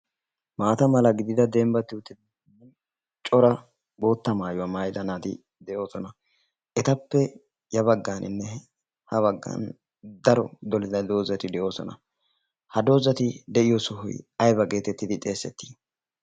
maata mala gidida dembbatti utidda cora bootta maayuwaa maayida naati de7oosona. etappe ya baggaaninne ha baggan daro dolida doozati de7oosona. ha doozati de7iyo sohoy aybba geetettidi xeessettii?